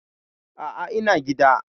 A'a, ina gida.